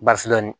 Basi dɔɔnin